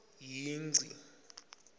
yingci